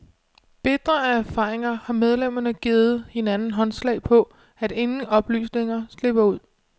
Bitre af erfaringer har medlemmerne givet hinanden håndslag på, at ingen oplysninger slipper ud.